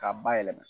K'a bayɛlɛma